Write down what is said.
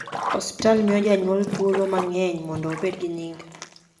osiptal miyo janyuol thuolo mangeny mondo obed gi nying